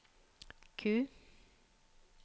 Q